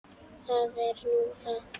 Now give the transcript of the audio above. Það er nú það.